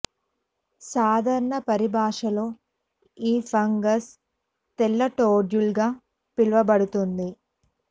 సాధారణ పరిభాషలో ఈ ఫంగస్ తెల్ల టోడ్స్టూల్ గా పిలువబడుతుంది